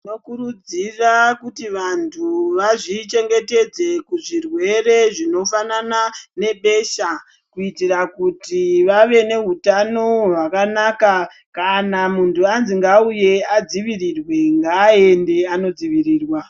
Tinokurudzira kuti vantu vazvichengetedze kuzvirwere zvinofanana nebesha kuitira kuti vave neutano hwakanaka kana muntu anzwi ngauye adzivirirwe ngaende anodzivirirwa.